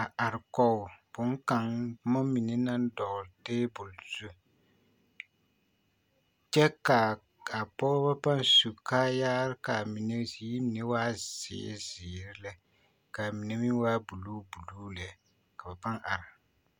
a are kɔŋ bonkaŋa boma mine naŋ dɔgle tabol zu kyɛ kaa pɔgebo paŋ su kaaya waa yitaa kaa mine meŋ waa buluu buluu lɛ ka be paa are.